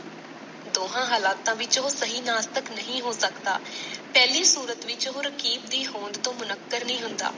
ਦੋਹਾਂ ਹਾਲਾਤਾਂ ਵਿਚ ਉਹ ਸਹੀ ਨਾਸਤਕ ਨਹੀਂ ਹੋ ਸਕਦਾ, ਪਹਿਲੀ ਸੂਰਤ ਵਿਚ ਉਹ ਰਕੀਫ਼ ਦੀ ਹੋਂਦ ਤੋਂ ਮੁਨੱਕਰ ਨਹੀਂ ਹੁੰਦਾ।